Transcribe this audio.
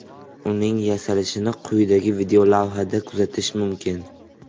Uning yasalishini quyidagi videolavhada kuzatish mumkin.